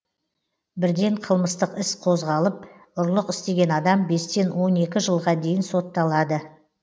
бірден қылмыстық іс қозғалып ұрлық істеген адам бестен он екі жылға дейін сотталад